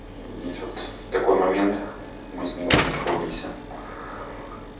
есть вот такой момент мы с ней в этом сходимся